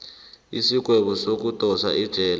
isigwebo sokudosa ejele